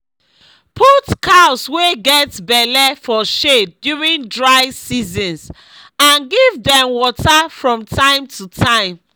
put cows wey get belle for shade during dry seasons and give dem water from time to time